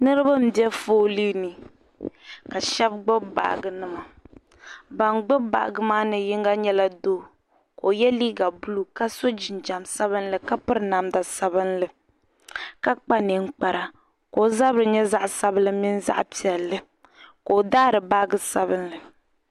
Niriba m-be foolii ni ka shɛba gbibi baajinima ban gbibi baajinima maa ni yiŋga nyɛla doo ka o ye liiga buluu ka so jinjam sabilinli ka piri namda sabilinli ka kpa niŋkpara ka o zabiri nyɛ zaɣ' sabilinli mini zaɣ' piɛlli ka o daari baaji sabilinli.